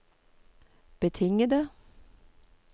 betingede